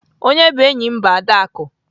Onye bụ enyi m bụ Adaku.